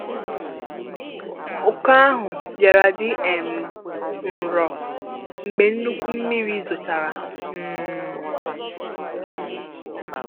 Uku ahụ bịara dị um ńrõ mgbe nnukwu mmiri zochara um